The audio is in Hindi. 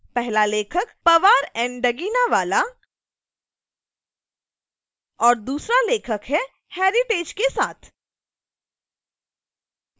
पहला लेखक powar and daginawala और दूसरा लेखक heritage के साथ